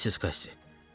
Missis Qassi!